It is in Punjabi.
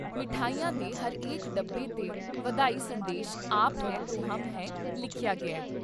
ਮਠਿਆਈ ਦੇ ਹਰੇਕ ਡੱਬੇ 'ਤੇ ਵਧਾਈ ਸੰਦੇਸ਼ ' ਆਪ ਹੈ ਤੋਂ ਹਮ ਹੈ" ਲਿਖਿਆ ਗਿਆ ।